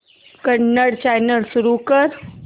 Kannada channel सुरू कर